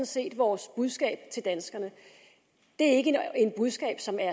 set vores budskab til danskerne det er ikke et budskab som er